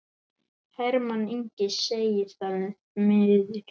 Hermann Ingi segir það miður.